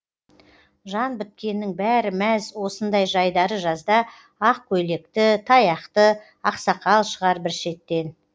жан біткеннің бәрі мәз осындай жайдары жазда ақ көйлекті таяқты аксақал шығар бір шеттен